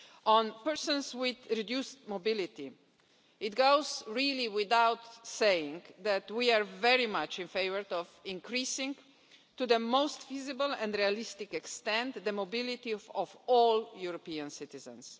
On persons with reduced mobility, it really goes without saying that we are very much in favour of increasing, to the most feasible and realistic extent, the mobility of all European citizens.